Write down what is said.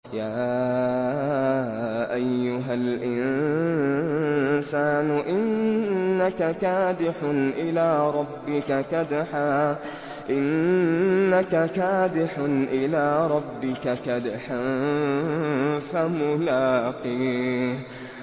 يَا أَيُّهَا الْإِنسَانُ إِنَّكَ كَادِحٌ إِلَىٰ رَبِّكَ كَدْحًا فَمُلَاقِيهِ